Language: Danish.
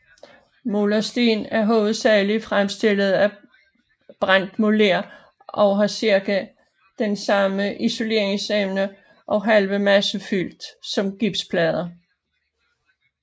Molersten er hovedsageligt fremstillet af brændt moler og har cirka den samme isoleringsevne og halve massefylde som gipsplader